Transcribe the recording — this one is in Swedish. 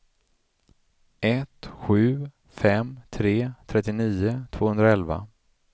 ett sju fem tre trettionio tvåhundraelva